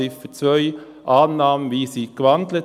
Ziffer 2, Annahme wie von Natalie Imboden gewandelt: